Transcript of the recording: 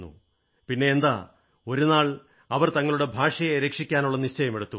പിന്നെന്താ ഒരു നാൾ അവർ തങ്ങളുടെ ഭാഷയെ രക്ഷിക്കാനുള്ള നിശ്ചയമെടുത്തു